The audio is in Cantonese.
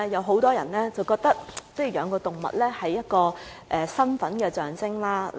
很多人覺得飼養動物是一個身份象徵。